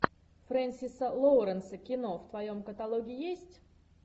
френсиса лоуренса кино в твоем каталоге есть